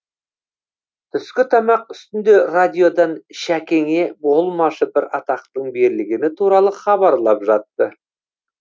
түскі тамақ үстінде радиодан шәкеңе болмашы бір атақтың берілгені туралы хабарлап жатты